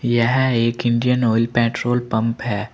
यह एक Indian oil petrol pump है।